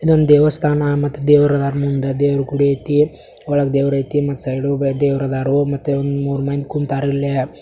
ಇದೊಂದು ದೇವಸ್ಥಾನ ಮತ್ತ ದೇವ್ರು ಅದನ ಮುಂದ ದೇವ್ರು ಗುಡಿ ಆಯಿತು ಒಳಗ ದೇವ್ರು ಐತಿ ಮತ್ತೆ ಸೈಡು ಇಬ್ರು ದೆವ್ರು ಆದರು ಮತ್ತೆ ಒಂದು ಮೂರೂ ಮಂದಿ ಕುಂತಾರ ಇಲ್ಲಿ.